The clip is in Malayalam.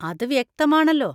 അത് വ്യക്തമാണല്ലോ.